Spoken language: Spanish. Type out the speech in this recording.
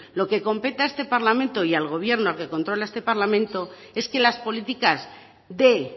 lo que compete a este parlamento y al gobierno al que controla este parlamento es que las políticas de